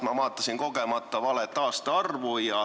Ma vaatasin kogemata valet aastaarvu.